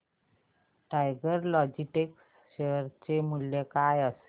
tiger Logistics share चे मूल्य काय असेल